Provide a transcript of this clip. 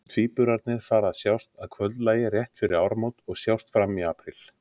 Tvíburarnir fara að sjást að kvöldlagi rétt fyrir áramót og sjást fram í apríl.